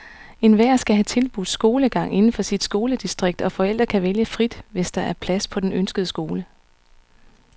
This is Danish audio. Enhver skal have tilbudt skolegang inden for sit skoledistrikt, og forældre kan vælge frit, hvis der er plads på den ønskede skole.